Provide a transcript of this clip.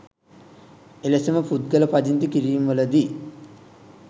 එලෙසම පුද්ගල පදිංචි කිරීම්වලදී